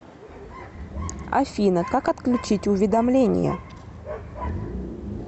афина как отключить уведомление